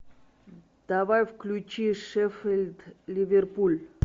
давай включи шеффилд ливерпуль